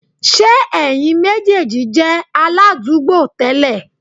Ṣé ẹ̀yin méjèèjì jẹ́ aládùúgbò tẹ́lẹ̀?